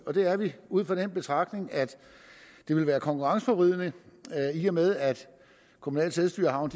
og det er vi ud fra den betragtning at det ville være konkurrenceforvridende i og med at kommunale selvstyrehavne